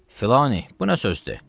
Filanı, bu nə sözdür?